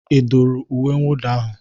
Ị dụru uwe mwụda ahụ?